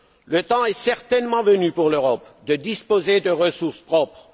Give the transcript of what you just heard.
Le temps est certainement venu pour l'Europe de disposer de ressources propres.